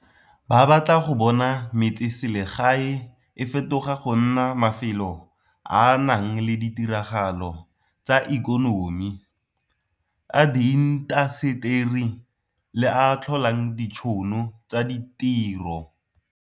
Ba batla go bona metseselegae e fetoga go nna mafelo a a nang le ditiragalo tsa ikonomi, a diintaseteri le a a tlholang ditšhono tsa ditiro.